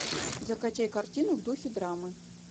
закачай картину в духе драмы